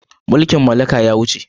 Mulkin mallaka ya wuce.